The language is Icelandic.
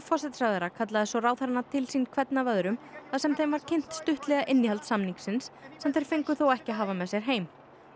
forsætisráðherra kallaði svo ráðherrana til sín hvern af öðrum þar sem þeim var kynnt stuttlega innihald samningsins sem þeir fengu þó ekki að hafa með sér heim